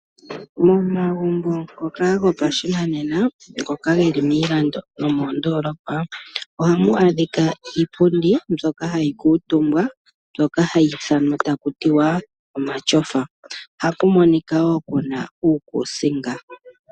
Momagumbo ngoka gopashinanena, ngoka geli miilando nomoondolopa, ohamu adhika iipundi mbyoka hayi kuutumbwa, mbyoka hayi ithanwa taku tiwa omashofa, ohaku monika wo kuna uukusinga.